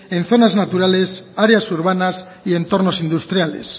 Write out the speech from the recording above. en zonas naturales áreas urbanas y entornos industriales